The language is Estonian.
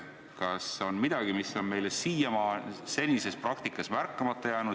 Kas on midagi, mis on meile siiamaani senises praktikas märkamata jäänud?